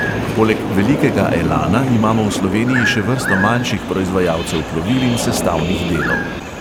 Poleg velikega elana imamo v sloveniji še vrsto manjših proizvajalcev plovil in sestavnih delov.